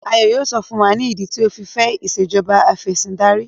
Ayo yíò sọ fún wá ni idi tio ọ fí fè Ìṣèjọba Afẹ̀sìndarí